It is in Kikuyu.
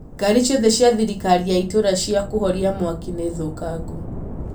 ngari cĩothe cia thirikari ya itũũra cia kũhoria mwaki nĩ thũkangũ